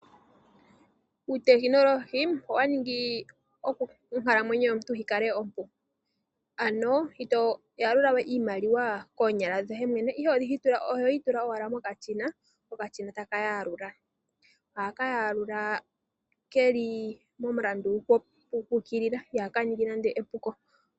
Uutekinolohi owa ningi onkalamwenyo yomuntu yikale ompu ,ano ito yalula we iimaliwa koonyala dhoye mwene ihe ohoyi tula owala mokashina ko okashina taka yalula. Ohaka yalula keli momulandu gu ukilila ihaka ningi nande epuko.